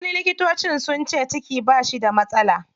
Likitocin sunce ciki bashi da matsala.